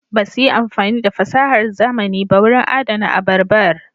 Ba su yi amfani da fasahar zamani ba wurin adana abarbar.